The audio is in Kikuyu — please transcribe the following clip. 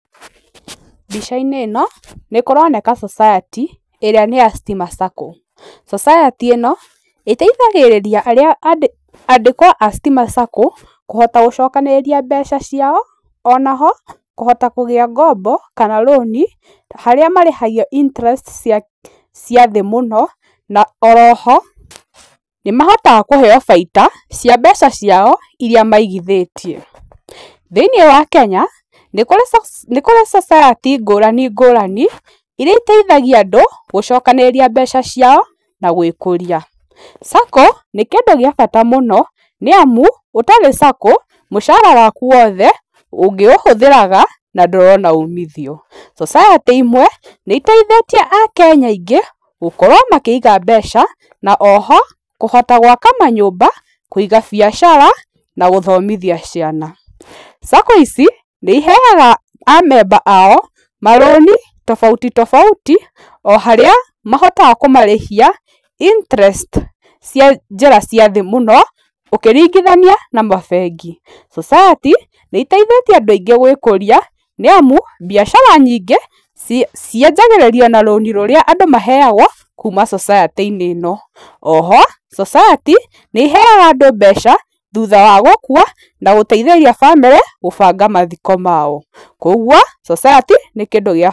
Mbica-inĩ ĩno nĩkũroneka society ĩrĩa nĩ ya Stima Sacco, society ĩno ĩteithagĩrĩria andĩkwo a Stima Sacco kũhota gũcokanĩrĩria mbeca ciao onaho kũhota kũgĩa ngombo, kana rũni harĩa marĩhagia interest cia thĩ mũno na oro ho nĩmahotaga kũheyo baita cia mbeca ciao iria migithĩtie. Thĩiniĩ wa Kenya nĩ kũrĩ society ngũrani ngũrani iria iteithagia andũ gũcokanĩrĩria mbeca ciao na gũĩkũria. Sacco nĩ kĩndũ gĩa bata mũno, nĩ amu ũtarĩ Sacco mũcara waku wothe ũngĩũhũthĩraga na ndũrona umithio. Society imwe nĩ iteithĩtĩe akenya aingĩ gũkorwo makĩiga mbeca na o ho kũhota gwaka manyũmba, kũiga biacara na gũthomithia ciana. Sacco ici nĩiheaga amemba ao marũni tofauti tofauti o harĩa mahotaga kũmarĩhia interest cia njĩra cia thĩ mũno ũkĩringithania na mabengi. Society nĩ iteithĩtie andũ aingĩ gũĩkũria nĩamu mbiacara nyingĩ cianjagĩrĩrio na rũnĩ rũrĩa andũ maheyagwo kuma society -inĩ ĩno. O ho society nĩ iheaga andũ mbeca thutha wa gũkua na gũteithĩrĩria bamĩrĩ gũbanga mathiko mao, kwa ũguo society nĩ kĩndũ gĩa bata.